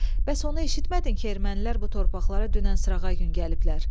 Bəs onu eşitmədin ki, ermənilər bu torpaqlara dünən, sırağa gün gəliblər?